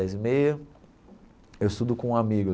Dez e meia eu estudo com um amigo.